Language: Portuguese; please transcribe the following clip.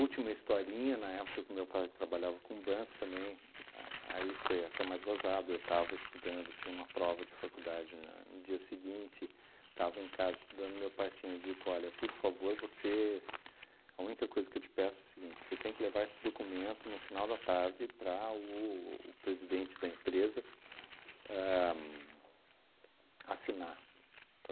Última historinha, na época que meu pai trabalhava com banco também, a aí foi até mais gozado, eu tava estudando, tinha uma prova de faculdade na no dia seguinte, estava em casa estudando, meu pai tinha dito, olha, por favor, você, a única coisa que eu te peço é o seguinte, você tem que levar esse documento no final da tarde para o o presidente da empresa ahn assinar,